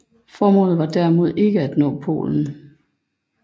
Formålet var derimod ikke at nå polen